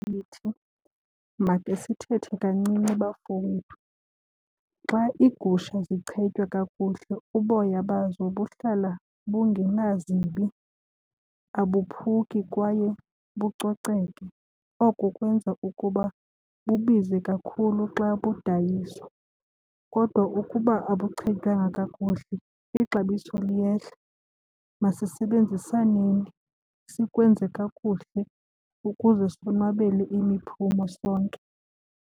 Ndithi makhe sithethe kancinci bafowethu. Xa iigusha zichetywa kakuhle uboya bazo buhlala bungenazimbi, abophuki kwaye bucoceke oko. Kwenza ukuba bubize kakhulu xa kudayiswa. Kodwa ukuba abuchetywanga kakuhle ixabiso liyehla. Masisebenzisaneni sikwenze kakuhle ukuze sonwabele imiphumo sonke.